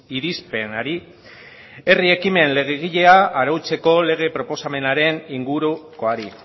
irizpenari herri ekimen legegilea arautzeko lege proposamenaren ingurukoari